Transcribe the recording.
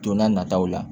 Don n'a nataw la